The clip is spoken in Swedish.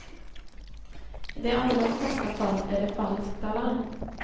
I de allra flesta fall är det falskt alarm.